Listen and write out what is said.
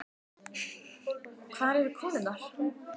Hvar eru konurnar?